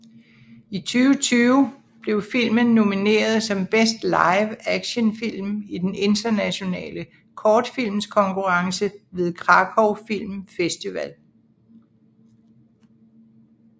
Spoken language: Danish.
I 2020 blev filmen nomineret som bedst Live Action Film i den internationale kortfilmskonkurrence ved Krakow Film Festival